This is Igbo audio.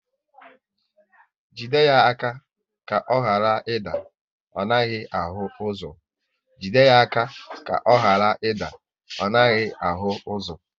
Jide ya aka ka ọ ghara ị da, ọ naghị ahụ ụzọ!